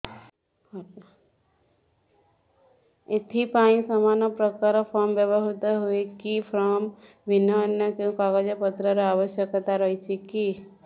ଏଥିପାଇଁ ସମାନପ୍ରକାର ଫର୍ମ ବ୍ୟବହୃତ ହୂଏକି ଫର୍ମ ଭିନ୍ନ ଅନ୍ୟ କେଉଁ କାଗଜପତ୍ରର ଆବଶ୍ୟକତା ରହିଛିକି